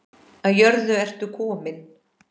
Af jörðu ertu kominn.